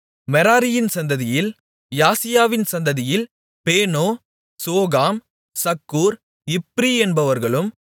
மெராரியின் சந்ததியில் யாசியாவின் சந்ததியில் பேனோ சோகாம் சக்கூர் இப்ரி என்பவர்களும்